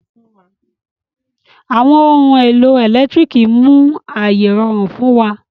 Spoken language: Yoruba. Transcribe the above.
Àwọn ohun èlò ẹ̀lẹ́tírìkì mú ayé rọrùn fún wa.